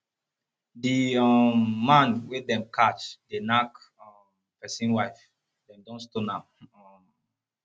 the um man wey dem catch dey knack um person wife dem don stone am um